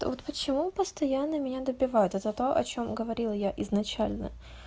та вот почему постоянно меня добивают это то о чём говорила я изначально